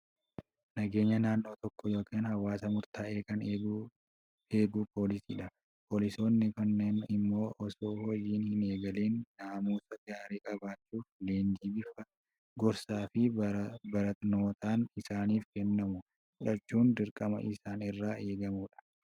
Nageenya naannoo tokkoo yookiin hawaasa murtaa'ee kan eegu poolisiidha. Poolisoonni kunneen immoo osoo hojii hin eegaliin naamusa gaarii qabaachuuf, leenjii bifa gorsaa fi barnootaan isaaniif kennamu fudhachuun dirqama isaan irraa eegamudha.